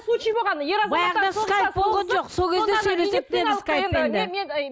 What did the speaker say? случай болған ер азаматтар